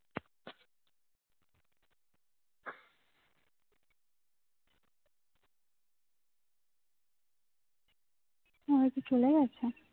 উম ও কি চলে গেছে